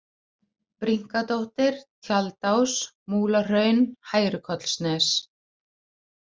Brynkadóttir, Tjaldás, Múlahraun, Hærukollsnes